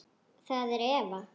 Það er Eva.